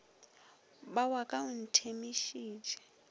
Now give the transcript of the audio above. ba wa ka o nthemišitše